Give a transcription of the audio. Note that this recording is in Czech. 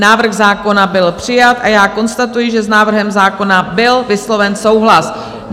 Návrh zákona byl přijat a já konstatuji, že s návrhem zákona byl vysloven souhlas.